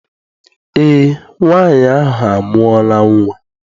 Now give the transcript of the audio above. Eé, nwaanyị ahụ amụọla nnwa.